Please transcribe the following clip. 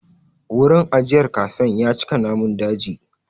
Wurin ajiyar kafen ya cika namun daji.